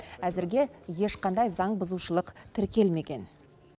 әзірге ешқандай заңбұзушылық тіркелмеген